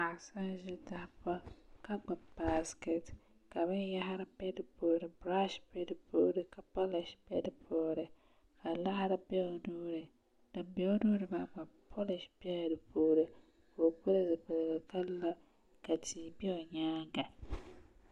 Paɣa so n ʒi tahapoŋ ka gbubi baskɛt ka binyahari bɛ di puuni birash bɛ di puuni ka polish bɛ di puuni ka laɣari bɛ o nuuni din bɛ o nuuni maa gba polish biɛla di puuni ka o pili zipiligu ka la ka tia bɛ o nyaanga